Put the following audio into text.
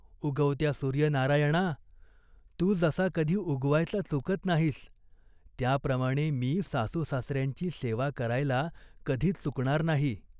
'उगवत्या सूर्यनारायणा, तू जसा कधी उगवायचा चुकत नाहीस, त्याप्रमाणे मी सासूसासऱ्यांची सेवा करायला कधी चुकणार नाही.